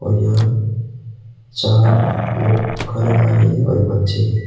और यहां चार लोग खाना खा रहे हैं और बच्चे हैं।